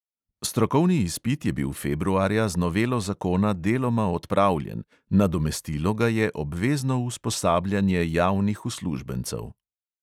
Strokovni izpit je bil februarja z novelo zakona deloma odpravljen, nadomestilo ga je obvezno usposabljanje javnih uslužbencev.